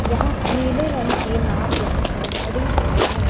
यहाँ नीले रंग की नाव यहाँ पर खड़ी हुए है।